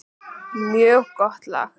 Mjög gott lag.